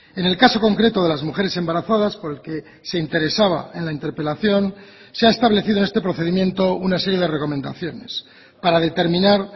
en el caso concreto de las mujeres embarazadas por el que se interesaba en la interpelación se ha establecido en este procedimiento una serie de recomendaciones para determinar